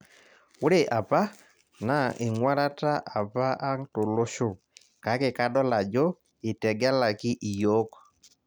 Ore apa na eng'uarata apa ang' tolosho kake kadol ajo itegelaki iyiok